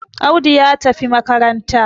Audu ya tafi makaranta